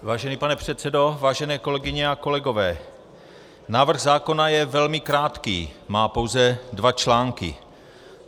Vážený pane předsedo, vážené kolegyně a kolegové, návrh zákona je velmi krátký, má pouze dva články.